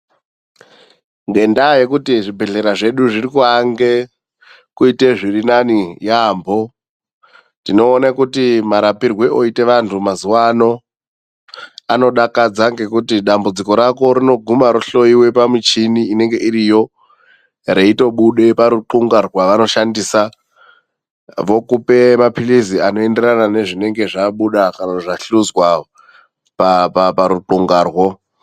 Ngendaa yekuti zvibhedhlera zvedu zvirikuange kuita zvirinani yaemho, tinoona kuti marapirwe oita vanhu mazuwa ano anodakadza ngekuti dambudziko rako rinoguma rohloiwa pamichini inonga iriyo reitobuda paruqunga rwavanoshandisa, vokupe mapilizi anoenderana nezvinenge zvabuda kana zvahluzwa paruqungarwo.